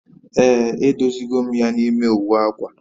Ee, e dozi go m ya n'ime uwe akwa